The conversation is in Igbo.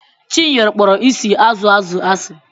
Chinyere kpọrọ isi azụ azụ asị.